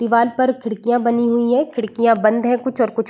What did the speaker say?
दिवाल पर खिड़कियां बनी हुई है खिड़कियां बंद है कुछ और कुछ --